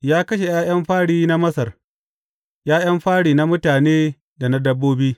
Ya kashe ’ya’yan fari na Masar, ’ya’yan fari na mutane da na dabbobi.